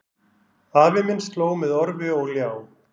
Afi minn slóg með orfi og ljá